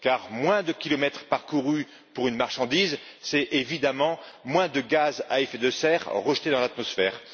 Or, moins de kilomètres parcourus pour une marchandise, c'est évidemment moins de gaz à effet de serre rejetés dans l'atmosphère.